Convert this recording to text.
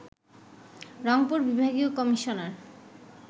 রংপুর বিভাগীয় কমিশনার